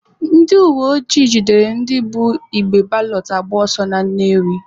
Ndị uweojii jidere ndị bu igbe balọt agba ọsọ na Nnewi.